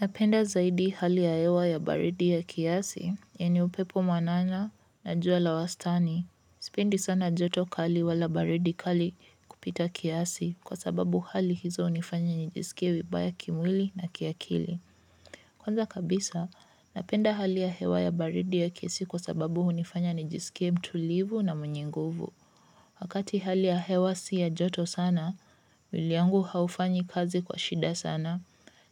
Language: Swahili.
Napenda zaidi hali ya hewa ya baridi ya kiasi, yani upepo mwanana na jua la wastani. Sipendi sana joto kali wala baridi kali kupita kiasi kwa sababu hali hizo hunifanya nijisikie vibaya kimwili na kiakili. Kwanza kabisa, napenda hali ya hewa ya baridi ya kiasi kwa sababu hunifanya nijisikie mtulivu na mwenye nguvu. Wakati hali ya hewa si ya joto sana, mwili yangu haufanyi kazi kwa shida sana,